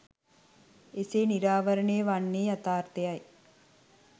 එසේ නිරාවරණය වන්නේ යථාර්ථය යි.